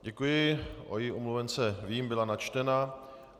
Děkuji, o její omluvence vím, byla načtena.